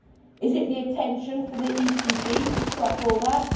Is it the intention for the ECB to stop all that?